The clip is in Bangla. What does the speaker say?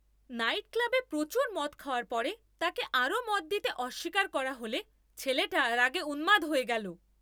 নাইটক্লাবে প্রচুর মদ খাওয়ার পরে তাকে আরও মদ দিতে অস্বীকার করা হলে ছেলেটা রাগে উন্মাদ হয়ে গেল।